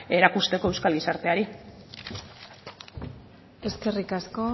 erakusteko euskal gizarteari eskerrik asko